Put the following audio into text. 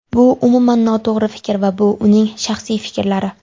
Bu umuman noto‘g‘ri fikr va bu uning shaxsiy fikrlari.